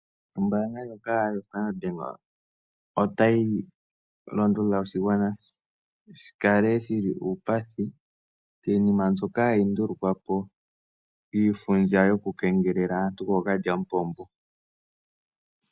Ombaanga ndjoka yoStandard Bank otayi londodha shigwana shi kale shi li uupathi miinima mbyoka hayi ndulukwa po yiifundja yokukengelela aantu kookalyamupombo.